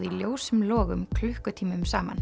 í ljósum logum klukkutímum saman